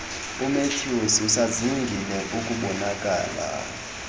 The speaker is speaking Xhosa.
umatthews usazingile ukubonakala